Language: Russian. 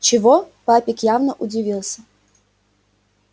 чего папик явно удивился